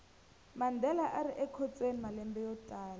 mandela arikhotsweni malembe yotala